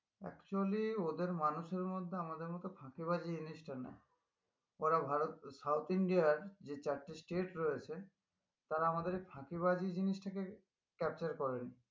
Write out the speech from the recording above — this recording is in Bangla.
Actually ওদের মানুষের মধ্যে আমাদের মত ফাঁকিবাজি জিনিসটা নাই ওরা ভারত south indian আর যে চারটে state রয়েছে তারা আমাদের ফাঁকিবাজি জিনিসটাকে capture করে নি